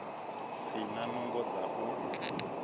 si na nungo dza u